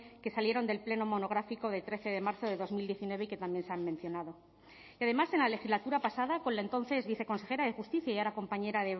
que salieron del pleno monográfico del trece de marzo de dos mil diecinueve y que también se han mencionado y además en la legislatura pasada con la entonces viceconsejera de justicia y ahora compañera